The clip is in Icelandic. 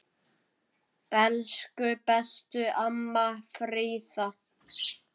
Elsku besta amma Fríða.